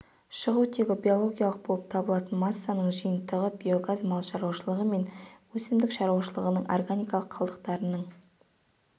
шығу тегі биологиялық болып табылатын массаның жиынтығы биогаз мал шаруашылығы мен өсімдік шаруашылығының органикалық қалдықтарының